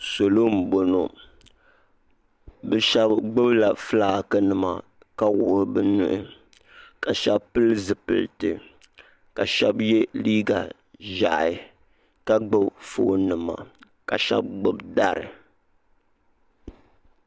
Salo m boŋɔ bɛ sheba gbibila filaaki nima ka wuɣi bɛ nuhi ka sheba pili zipilti ka sheba ye liiga ʒehi ka gbibi fooni nima ka sheba gbibi dari.